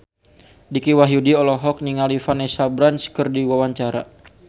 Dicky Wahyudi olohok ningali Vanessa Branch keur diwawancara